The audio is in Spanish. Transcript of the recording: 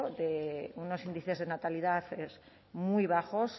de unos índices de natalidad muy bajos